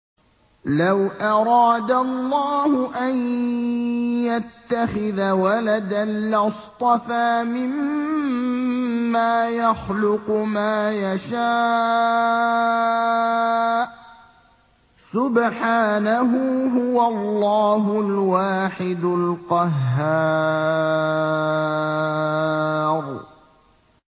لَّوْ أَرَادَ اللَّهُ أَن يَتَّخِذَ وَلَدًا لَّاصْطَفَىٰ مِمَّا يَخْلُقُ مَا يَشَاءُ ۚ سُبْحَانَهُ ۖ هُوَ اللَّهُ الْوَاحِدُ الْقَهَّارُ